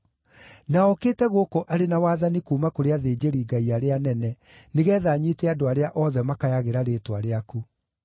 Na okĩte gũkũ arĩ na wathani kuuma kũrĩ athĩnjĩri-Ngai arĩa anene, nĩgeetha anyiite andũ arĩa othe makayagĩra rĩĩtwa rĩaku.”